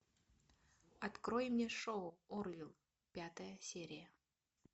открой мне шоу орвилл пятая серия